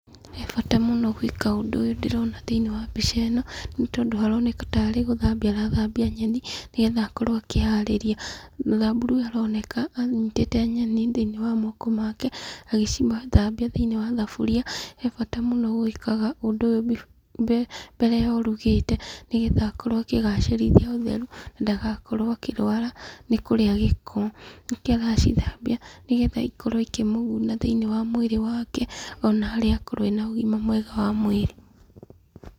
He bata mũno gwĩka ũndũ ũyũ ndĩrona thĩiniĩ wa mbica ĩno, nĩ tondũ haroneka tarĩ gũthambia arathambia nyeni, nĩgetha akorwo akĩharĩria. Mũthamburu ũyũ aroneka anyitĩte nyeni thĩiniĩ wa moko make, agĩcithambia thĩiniĩ wa thaburia. He bata mũno gũĩkaga ũndũ ũyũ mbere ya ũrugĩte, nĩgetha akorwo akĩhacĩrithia ũtheri na ndagakorwo akĩrwara nĩ kũrĩa gĩko. Nĩkio aracithambia, nĩgetha ikorwo ikĩmũguna thĩiniĩ wa mwĩrĩ wake, ona arĩa akorwo ena ũgima mwega wa mwĩrĩ.